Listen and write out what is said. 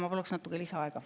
Ma paluksin natuke lisaaega.